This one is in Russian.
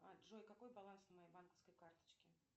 джой какой баланс на моей банковской карточке